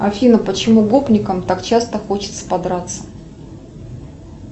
афина почему гопникам так часто хочется подраться